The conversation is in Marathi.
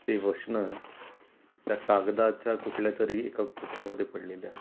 ते वचन त्या कागदाच्या कुठल्या तरी एका कोपऱ्यामद्धे पडलेले असतात.